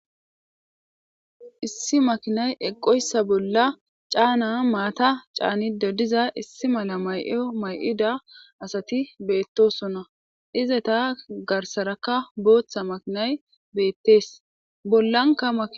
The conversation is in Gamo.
Issi makinay eqqoyssa bolla caana maata caanido diza issi mala may7o may7ida asati beettosona ize ta garsarakka booththa makinay beettees bollanka maki